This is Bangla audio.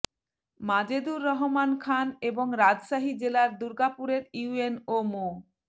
মাজেদুর রহমান খান এবং রাজশাহী জেলার দুর্গাপুরের ইউএনও মো